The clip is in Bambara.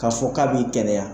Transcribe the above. K'a fɔ k'a b'i kɛnɛya.